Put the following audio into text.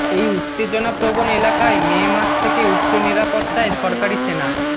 এই উত্তেজনাপ্রবণ এলাকায় মে মাস থেকে উচ্চ নিরাপত্তায় সরকারি সেনা